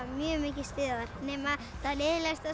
mjög mikið stuð nema það leiðinlegasta